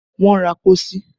Wọ́n ra pósí